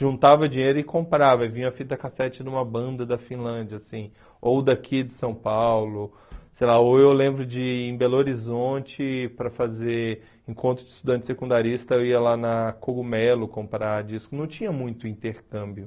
juntava dinheiro e comprava, vinha a fita cassete de uma banda da Finlândia assim, ou daqui de São Paulo, sei lá ou eu lembro de ir em Belo Horizonte para fazer encontro de estudante secundarista, eu ia lá na Cogumelo comprar disco, não tinha muito intercâmbio.